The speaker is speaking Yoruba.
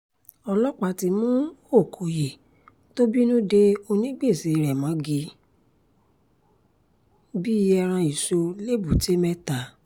ọlọ́pàá ti mú ọkọyé tó bínú dé onígbèsè rẹ̀ mọ́gi bíi ẹran ìṣó lẹ́bùté-mẹ́ta